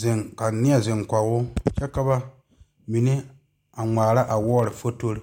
zeŋ ka neɛ zeŋ kegroo pɔgeba mime a ŋmmara a wɔɔre fotori